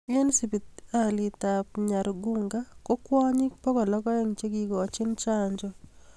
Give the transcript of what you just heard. Eng hospitalit ab nyargunga koo kwanyiik pokol ak aeng che kikikochii chanjoo